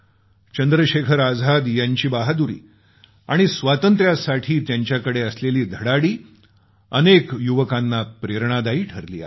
चंद्रशेखर आझाद यांची बहादुरी आणि स्वातंत्र्यासाठी त्यांच्याकडे असलेली धडाडी अनेक युवकांना प्रेरणादायी ठरली आहे